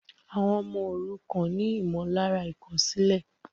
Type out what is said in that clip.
Àwọn ọmọ òrukàn ni ìmọ̀lára ìkòsílè